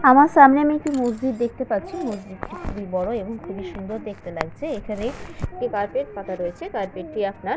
আমার সামনে আমি একটি মসজিদ দেখতে পাচ্ছি। মসজিদটি খুবই বড় এবং খুবই সুন্দর দেখতে লাগছে এখানে একটি কার্পেট পাতা রয়েছে কার্পেট টি আপনার --